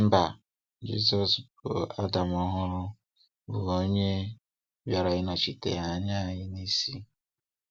Mba, Jizọs bụ Adam ọhụrụ bụ onye bịara ịnọchite anya anyị n'isi.